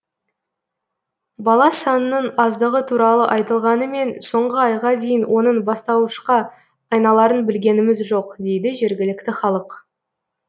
бала санының аздығы туралы айтылғанымен соңғы айға дейін оның бастауышқа айналарын білгеніміз жоқ дейді жергілікті халық